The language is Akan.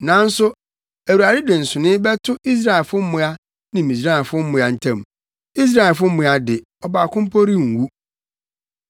Nanso Awurade de nsonoe bɛto Israelfo mmoa ne Misraimfo mmoa ntam. Israelfo mmoa de, ɔbaako mpo renwu.